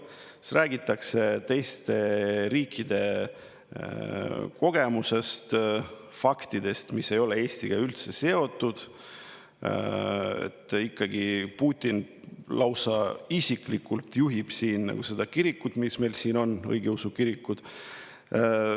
Siis räägitakse teiste riikide kogemusest, faktidest, mis ei ole üldse Eestiga seotud, räägitakse, et Putin lausa isiklikult juhib seda kirikut, mis meil siin on, õigeusu kirikut.